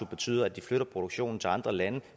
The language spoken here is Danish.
betyder at de flytter produktionen til andre lande